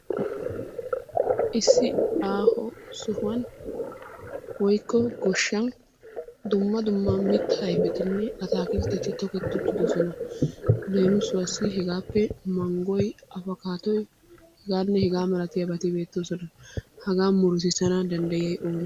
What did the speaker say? Issi aaho sohuwaani woykko goshshan dumma dumma mittaa ayfettinne atakiltteti toketti uttidosona. Lemsuwaasi hagaappe manggoy apokkadoy hegaane hegaa malattiyabatti beettossona, hagetta muruttissana dandayiyay oone?